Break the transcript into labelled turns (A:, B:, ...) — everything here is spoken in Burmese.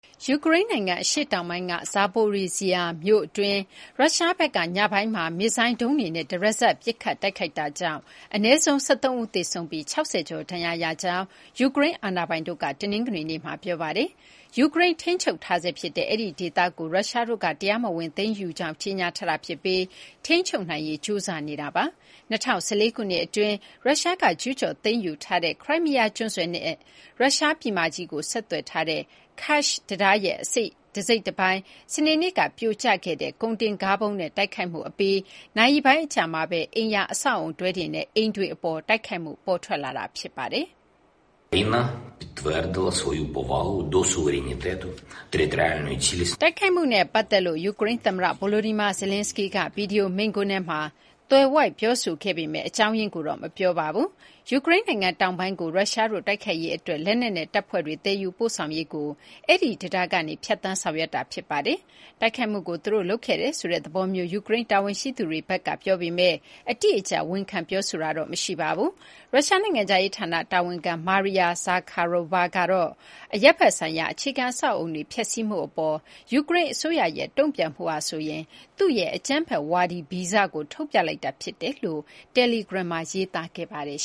A: ယူကရိန်း နိုင်ငံ အရှေ့တောင်ပိုင်းက Zaporizhzhia မြို့အတွင်း ရုရှားဘက်က ညပိုင်းမှာ မစ်ဇိုင်း ဒုံးတွေနဲ့ တရစပ် ပစ်ခတ်တိုက်ခိုက်တာကြောင့် အနည်းဆုံး ၁၃ ဦး သေဆုံးပြီး ၆၀ ကျော် ဒဏ်ရာရရှိကြောင်း ယူကရိန်း အာဏာပိုင်တို့က တနင်္ဂနွေနေ့မှာ ပြောပါတယ်။ ယူကရိန်း ထိန်းချုပ်ထားဆဲ ဖြစ်တဲ့ အဲဒီ ဒေသကို ရုရှားတို့က တရားမဝင် သိမ်းယူကြောင်း ကြေညာထားတာ ဖြစ်ပြီး ထိန်းချုပ်နိုင်ဖို့ ကြိုးစားနေတာ ဖြစ်ပါတယ်။ ၂၀၁၄ ခုနှစ် အတွင်း ရုရှားက ကျူးကျော် သိမ်းယူထားတဲ့ ခရိုင်းမီးယား ကျွန်းဆွယ်နဲ့ ရုရှား ပြည်မကြီးကို ဆက်သွယ်ထားတဲ့ Kerch တံတားရဲ့ တစိတ်တပိုင်း စနေနေ့က ပြိုကျခဲ့တဲ့ ကုန်တင်ကားဗုံးနဲ့ တိုက်ခိုက်မှု အပြီး နာရီပိုင်း အကြာမှာဘဲ အိမ်ယာ အဆောက်အအုံတွဲတွေနဲ့ အိမ်တွေ အပေါ် တိုက်ခိုက်မှု ပေါ်ထွက်လာတာပါ။ တိုက်ခိုက်မှုနဲ့ ပတ်သက်လို့ ယူကရိန်း သမ္မတ Volodymyr Zelenskyy ကတော့ ဗွီဒီယို မိန့်ခွန်းထဲမှာ သွယ်ဝိုက် ပြောဆိုခဲ့ပေမယ့် အကြောင်းရင်းကိုတော့ မပြောပါဘူး။ ယူကရိန်း နိုင်ငံ တောင်ပိုင်းကို ရုရှားတို့ တိုက်ခိုက်ရေး အတွက် လက်နက်နဲ့ တပ်ဖွဲ့တွေ သယ်ယူပို့ဆောင်ရေးကို Kerch တံတားကနေ ဖြတ်သန်း ဆောင်ရွက်နေတာ ဖြစ်ပါတယ်။ တိုက်ခိုက်မှုကို သူတို့ လုပ်ခဲ့တယ်ဆိုတဲ့ သဘောမျိုး ယူကရိန်း တာဝန်ရှိသူတွေဘက်က ပြောပေမယ့် အတိအကျ ဝန်ခံ ပြောဆိုတာတော့ မရှိပါဘူး။ ရုရှား နိုင်ငံခြားရေး ဌာန တာဝန်ခံ Maria Zakharova ကတော့ အရပ်ဘက် ဆိုင်ရာ အခြေခံ အဆောက်အအုံတွေ ဖျက်စီးမှု အပေါ် ယူကရိန်း အစိုးရရဲ့ တုံ့ပြန်မှုဟာဆိုရင် သူ့ရဲ့ အကြမ်းဖက်ဝါဒီ ဗီဇကို ထုတ်ပြလိုက်တာ ဖြစ်တယ်လို့ တယ်လီဂရမ်မှာ ရေးသားခဲ့ပါတယ်